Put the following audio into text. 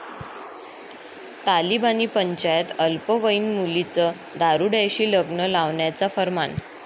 तालिबानी पंचायत, अल्पवयीन मुलीचं दारुड्याशी लग्न लावण्याचा फर्मान